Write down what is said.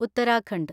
Uttarakhand